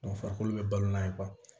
farikolo bɛ balo n'a ye